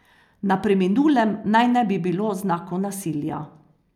Na preminulem naj ne bi bilo znakov nasilja.